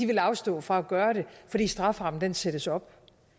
vil afstå fra at gøre det fordi straframmen sættes op